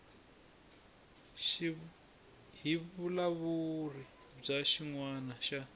hi vulawuri bya xinawana xa